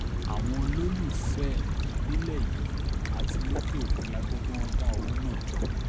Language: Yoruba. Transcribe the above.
àwọn olólùfẹ́ ẹ̀ nílẹ̀ yìí àti lókè òkun la gbọ́ pé wọ́n dá owó náà jọ